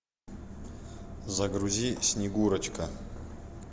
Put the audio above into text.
загрузи снегурочка